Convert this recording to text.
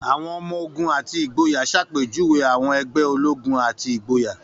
Àwọn ọmọ-ogun àti ìgboyà ṣàpèjúwe àwọn ẹgbẹ́ ológun àti ìgboyà.